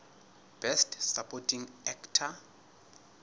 best supporting actor